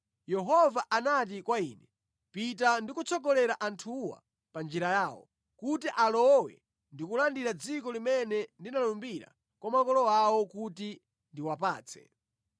Yehova anati kwa ine, “Pita ndi kutsogolera anthuwa pa njira yawo, kuti alowe ndi kulandira dziko limene ndinalumbira kwa makolo awo kuti ndiwapatse.”